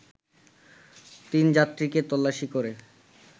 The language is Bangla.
তিনযাত্রীকে তল্লাশি করে